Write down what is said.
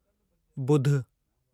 बुध